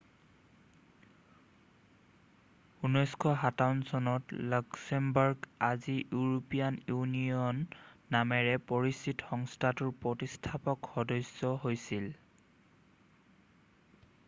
1957 চনত লাক্সেমবাৰ্গ আজি European Union নামেৰে পৰিচিত সংস্থাটোৰ প্ৰতিষ্ঠাপক সদস্য হৈছিল